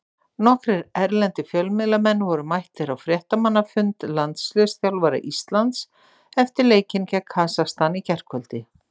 Nokkrir erlendir fjölmiðlamenn voru mættir á fréttamannafund landsliðsþjálfara Íslands eftir leikinn gegn Kasakstan í gærkvöldi.